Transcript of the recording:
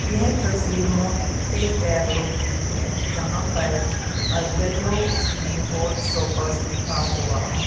यह तस्वीर Monte Carlo की हैं जहां पर अ येलो उसमें हॉट स्टॉपर लिखा हुआ हैं।